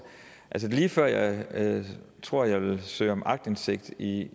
altså det er lige før jeg tror at jeg vil søge om aktindsigt i